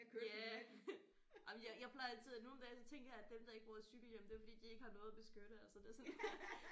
Ja jamen jeg jeg plejer altid at nogle dage så tænker jeg at dem der ikke bruger cykelhjelm det er fordi de ikke har noget at beskytte altså det er sådan